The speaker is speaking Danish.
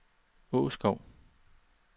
Åskov